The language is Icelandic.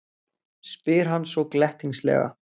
spyr hann svo glettnislega.